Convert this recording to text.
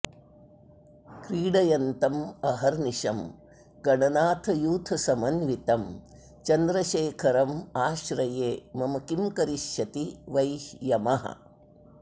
क्रीडयन्तमहर्निशं गणनाथयूथसमन्वितं चन्द्रशेखरमाश्रये मम किं करिष्यति वै यमः